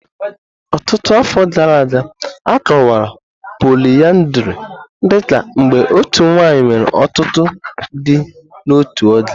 Ọtụtụ afọ gara aga, a kọwara poliyandri dị ka mgbe otu nwanyị nwere ọtụtụ di n'otu oge.